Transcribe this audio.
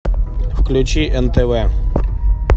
включи нтв